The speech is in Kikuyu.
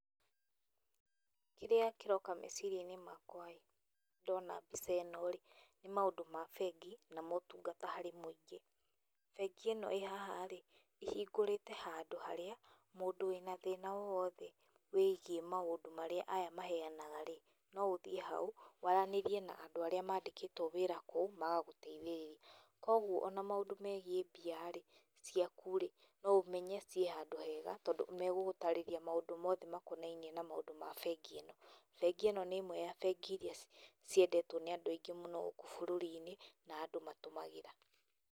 Kĩrĩa kĩroka meciria-inĩ makwa ndona mbica ĩno, nĩ maũndũ ma bengi na motungata harĩ mũingĩ, bengi ĩno ĩhaha-rĩ ĩhingũrĩte handũ harĩa mũndũ wĩna thĩna o wothe wĩgiĩ maũndũ marĩa aya maheanaga-rĩ no ũthiĩ haũ, waranĩrie na andũ arĩa mandĩkĩtwo wĩra kũu magagũteithĩrĩria. Koguo ona maũndũ megiĩ mbia-rĩ ciaku-rĩ no ũmenye ciĩhandũ hega tondũ nĩmagũgũtarĩria maũndũ mothe makonainiĩ na maũndũ ma bengi ĩno. Bengi ĩno nĩ ĩmwe ya bengi iria ciendetwo nĩ andũ aingĩ mũno gũkũ bũrũri-inĩ na andũ matũmagĩra.